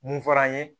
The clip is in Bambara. Mun fɔra an ye